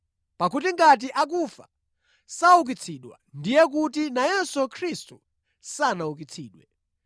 Pakuti ngati akufa saukitsidwa, ndiye kuti nayenso Khristu sanaukitsidwe.